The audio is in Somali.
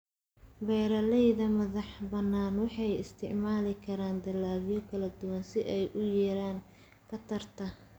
Beeralayda madaxbannaan waxay isticmaali karaan dalagyo kala duwan si ay u yareeyaan khatarta.